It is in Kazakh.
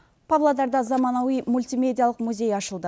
павлодарда заманауи мультимедиялық музей ашылды